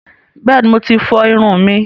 Bẹ́ẹ̀ni, Mo ti fọ ìrun mi